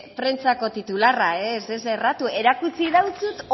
prentsako titularra ez ez erratu erakutsi deutsut